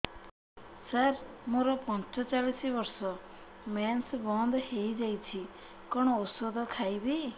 ସାର ମୋର ପଞ୍ଚଚାଳିଶି ବର୍ଷ ମେନ୍ସେସ ବନ୍ଦ ହେଇଯାଇଛି କଣ ଓଷଦ ଖାଇବି